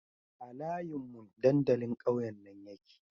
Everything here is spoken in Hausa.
A layin mun dandalin ƙauyen nan yake